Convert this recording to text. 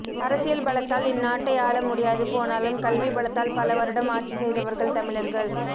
அரசியல் பலத்தால் இந்நாட்டை ஆள முடியாது போனாலும் கல்வி பலத்தால் பல வருடம் ஆட்சி செய்தவர்கள் தமிழர்கள்